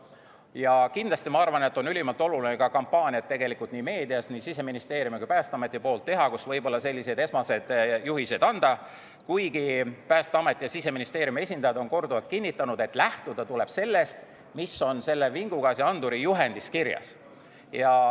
Ja kindlasti ma arvan, et on ülimalt oluline nii Siseministeeriumi kui ka Päästeameti poolt teha ka meedias kampaaniat, millega võib-olla sellised esmased juhised anda, kuigi Päästeameti ja Siseministeeriumi esindajad on korduvalt kinnitanud, et lähtuda tuleb sellest, mis on vingugaasianduri juhendis kirjas.